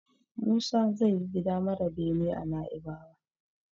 Musa zai yi gida mara bene a Naibawa.